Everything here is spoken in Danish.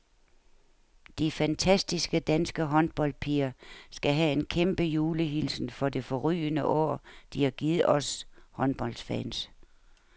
De fantastiske danske håndboldpiger skal have en kæmpe julehilsen for det forrygende år, de har givet os håndboldfans.